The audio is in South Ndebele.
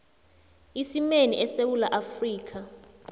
isimeni esewula afrika